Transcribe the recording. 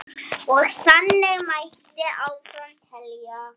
Og þannig mætti áfram telja.